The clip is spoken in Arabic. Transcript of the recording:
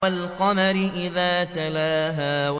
وَالْقَمَرِ إِذَا تَلَاهَا